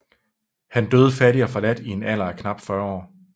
Han døde fattig og forladt i en alder af knap 40 år